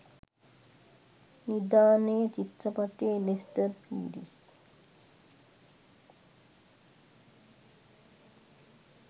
නිධානය චිත්‍රපටයේ ලෙස්ටර් පීරිස්